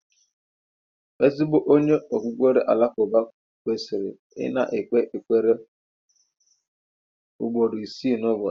Ezigbo onye okpukpere Alakụba kwesịrị ị na-ekpe ekpere ugboro ise n'ụbọchị.